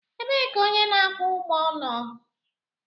Ebee ka onye na-akwụ ụgwọ nọ?